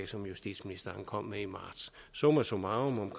som justitsministeren kom med i marts summa summarum